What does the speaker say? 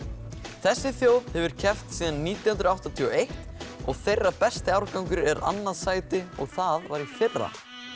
þessi þjóð hefur keppt síðan nítján hundruð áttatíu og eitt og þeirra besti árangur er annað sæti og það var í fyrra